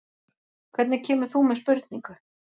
Hvernig kemur þú með spurningu?